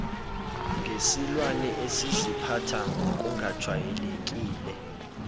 ngesilwane esiziphatha ngokungajwayelekile